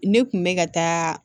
Ne kun bɛ ka taa